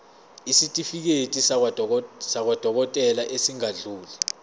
isitifiketi sakwadokodela esingadluli